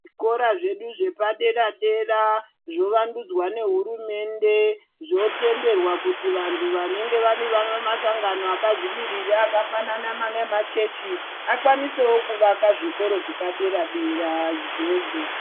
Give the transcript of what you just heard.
Zvikora zvedu zvepadera -dera zvovandudzwa nehurumende . Zvotenderwa kuti vanhu vanenge vane masangano akazvimiririra akafanana neema chechi akwanisewo kuvaka zvikoro zvepadera-dera izvozvo.